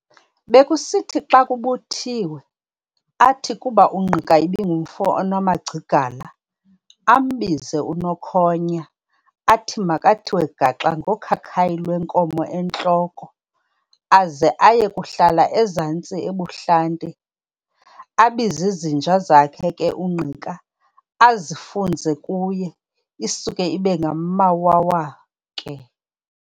Bekusithi xa kubuthiwe, athi kuba uNgqika ibingumfo onamagcigala, ambize u-Nokhonya, athi makathiwe gaxa ngokhakhayi lwenkomo entloko, aze aye kuhlala ezantsi ebuhlanti, abiz'izinja zakhe ke uNgqika, azifunze kuye, isuke ibe ngamawawa ke!